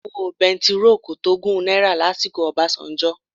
Owó bẹntiróò kò tó ọgọ́rùn-ún náírà lásìkò Obasanjo.